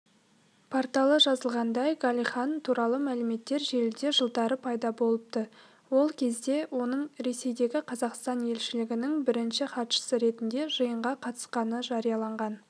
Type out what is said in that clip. порталы жазғандай галихин туралы мәліметтер желіде жылдары пайда болыпты ол кезде оның ресейдегі қазақстан елшілігінің бірінші хатшысы ретінде жиынға қатысқаны жарияланған